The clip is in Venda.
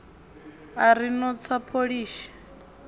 a ri no tswa pholishi